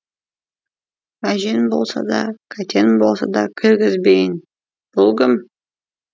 мәжен болса да кәтен болса да кіргізбейін бұ кім